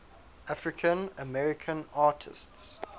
african american artists